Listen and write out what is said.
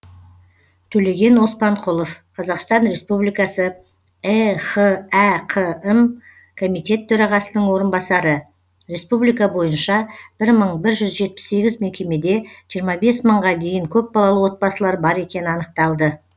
төлеген оспанқұлов қазақстан республикасы ехәқм комитет төрағасының орынбасары республика бойынша бір мыі бір жүз жетпіс сегіз мекемеде жиырма бес мыңға дейін көпбалалы отбасылар бар екені анықталды